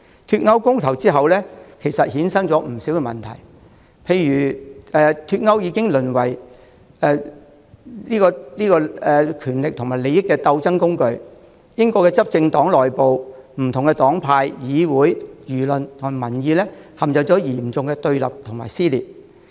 脫歐公投之後，其實有不少問題產生，例如脫歐議題淪為權力和利益鬥爭的工具，英國執政黨內部、不同黨派、議會、輿論和民意陷入嚴重對立和撕裂。